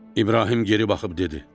İbrahim geri baxıb dedi: